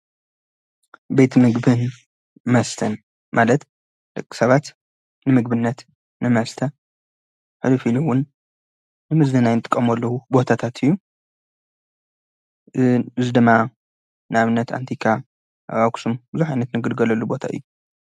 ቤት ምግብን መስተን ማለት ልቕ ሰባት ንምግብነት ንመስተ ሕዱፊልውን ንምዝናይን ጥቐመሉ ቦታታት እዩ እዝ ድማ ናምነት ኣንቲካ ኣብ አኹስም ዙኃይነት ንግልገለሉ ቦታ እዩ።